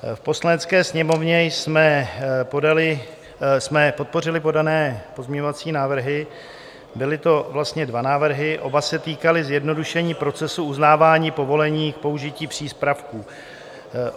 V Poslanecké sněmovně jsme podpořili podané pozměňovací návrhy, byly to vlastně dva návrhy, oba se týkaly zjednodušení procesů uznávání povolení k použití přípravků.